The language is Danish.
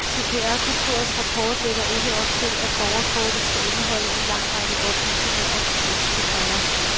CPR-kontorets rapport lægger ikke op til, at borgerkortet skal indeholde en lang række oplysninger om den enkelte borger.